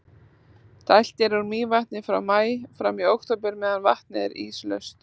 dælt er úr mývatni frá maí fram í október meðan vatnið er íslaust